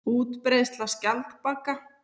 Útbreiðsla skjaldbaka.